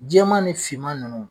Jɛman ni finman ninnu